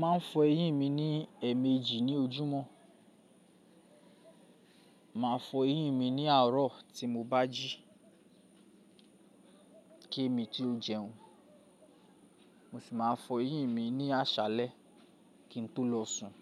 Mo mà ń fọ eyín mi ní ẹ̀mèjì ní ojúmọ́, mà á fọ eyín mi ní àárọ̀ tí mo bá jí kí emi tó jẹun, mo sì máa fọ eyín mi ní àṣálẹ̀ kí n tó lọ sùn